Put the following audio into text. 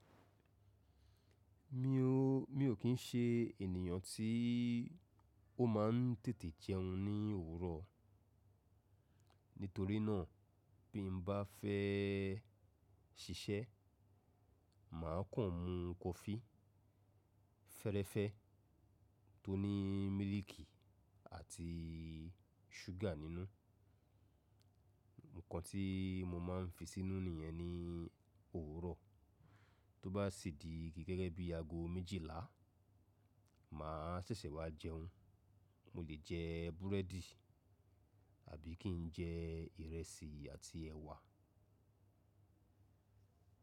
Mi o, mi ò kí ń ṣe ènìyàn tí ó máa ń tètè jẹun ní òwúrọ̀. Nítorí náà bí mo bá fẹ́ ṣiṣẹ́, màá kàn mú coffee fẹ́rẹ́fẹ́ tó ní mílìkì àti ṣúgà nínú. Ǹkan tí mo máa ń fi sínú niye ní òwúrọ̀, tó bá sì di gẹ́gẹ́ bí aago méjìlá, màá sẹ̀sẹ̀ wá jẹun. Mo lè jẹ búrẹ́dì àbí kí n jẹ ìrẹsì àti ẹ̀wà.